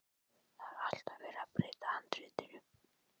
Það er alltaf verið að breyta handritinu.